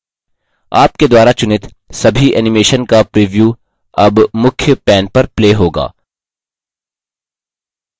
आपके द्वारा चुनित सभी animation का प्रिव्यू अब मुख्य main पर play होगा